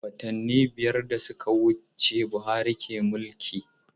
Watanni biyar da suka wuce Buhari ke mulki.